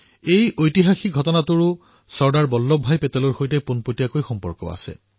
এই ঐতিহাসিক ঘটনাৰ সৈতে চৰ্দাৰ বল্লভ ভাই পেটেলৰ সৈতে প্ৰত্যক্ষ সম্পৰ্ক আছে